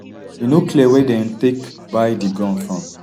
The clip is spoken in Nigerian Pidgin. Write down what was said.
e no clear wia dem take buy di guns from